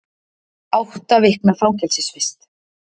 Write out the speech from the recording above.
Átta vikna fangelsisvist